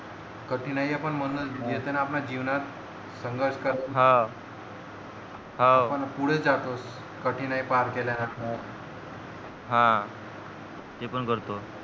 कठीणाया पण मधनं येतात आपल्या जीवनात संघर्ष हाव हाव आपण पुढे जात असतो कठीणायी पार केल्यानं हा तेपण करतो